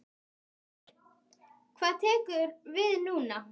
Þórir: Hvað tekur við núna?